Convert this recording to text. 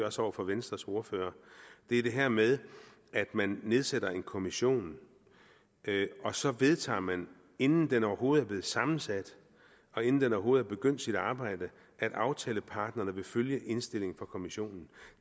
også over for venstres ordfører er det her med at man nedsætter en kommission og så vedtager man inden den overhovedet er blevet sammensat og inden den overhovedet har begyndt sit arbejde at aftalepartnerne vil følge indstillingen fra kommissionen